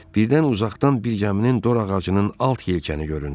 Birdən uzaqdan bir gəminin dorağacının alt yelkanı göründü.